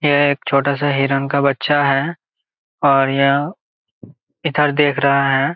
यह एक छोटा सा हिरण का बच्चा है और यह इधर देख रहा है।